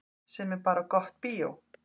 Sem er bara gott bíó.